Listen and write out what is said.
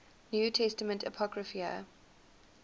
new testament apocrypha